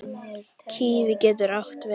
Kíví getur átti við